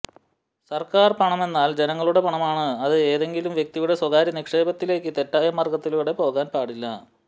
സർക്കാർ പണമെന്നാൽ ജനങ്ങളുടെ പണമാണ് അത് ഏതെങ്കിലും വ്യക്തിയുടെ സ്വകാര്യ നിക്ഷേപത്തിലേയ്ക്ക് തെറ്റായ മാർഗത്തിലൂടെ പോകാൻ പാടില്ല